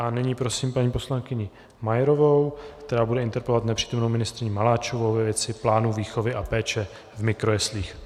A nyní prosím paní poslankyni Majerovou, která bude interpelovat nepřítomnou ministryni Maláčovou ve věci plánu výchovy a péče v mikrojeslích.